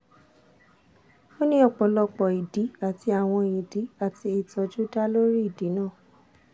o ni ọpọlọpọ awọn idi ati awọn idi ati itọju da lori idi naa